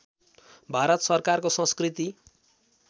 भारत सरकारको संस्कृति